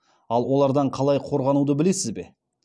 ал олардан қалай қорғануды білесіз бе